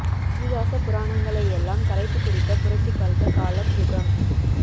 இதிகாச புரணங்களையெல்லாம் கரைத்து குடித்த புரட்சி கல்ப காலம் யுகம்